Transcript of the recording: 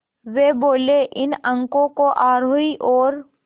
वे बोले इन अंकों को आरोही और